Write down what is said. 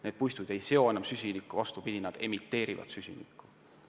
Need puistud ei seo enam süsinikku, vaid vastupidi, nad emiteerivad süsinikku.